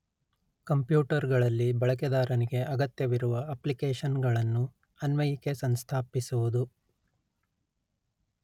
computer ಗಳಲ್ಲಿ ಬಳಕೆದಾರನಿಗೆ ಅಗತ್ಯವಿರುವ ಅಪ್ಲಿಕೇಶನ್ ಗಳನ್ನು ಅನ್ವಯಿಕೆ ಸಂಸ್ಥಾಪಿಸುವುದು